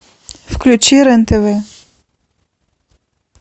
включи рен тв